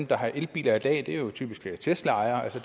der har elbiler i dag det er jo typisk teslaejere